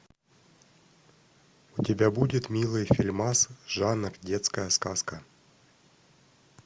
у тебя будет милый фильмас жанр детская сказка